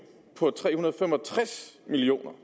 på tre hundrede og fem og tres million